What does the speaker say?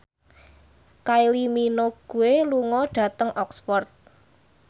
Kylie Minogue lunga dhateng Oxford